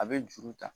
A bɛ juru ta